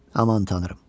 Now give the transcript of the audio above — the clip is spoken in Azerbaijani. Aman tanrım!